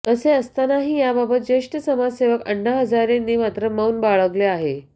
असे असतानाही याबाबत ज्येष्ठ समाजसेवक अण्णा हजारेंनी मात्र मौन बाळगले आहे